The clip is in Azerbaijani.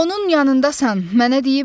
Onun yandasan, mənə deyiblər.